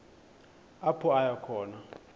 apho aya khona